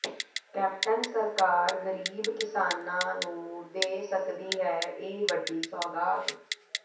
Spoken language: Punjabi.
ਕੈਪਟਨ ਸਰਕਾਰ ਗ਼ਰੀਬ ਕਿਸਾਨਾਂ ਨੂੰ ਦੇ ਸਕਦੀ ਹੈ ਇਹ ਵੱਡੀ ਸੌਗਾਤ